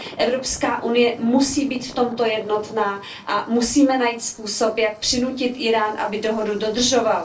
EU musí být v tomto jednotná a musíme najít způsob, jak přinutit Írán, aby dohodu dodržoval.